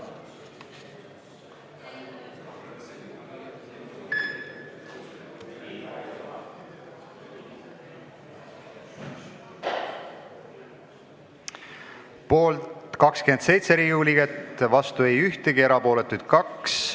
Hääletustulemused Poolt oli 27 Riigikogu liiget, vastu ei olnud keegi, erapooletuks jäi 2.